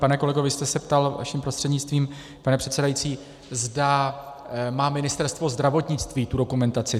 Pane kolego, vy jste se ptal, vaším prostřednictvím, pane předsedající, zda má Ministerstvo zdravotnictví tu dokumentaci.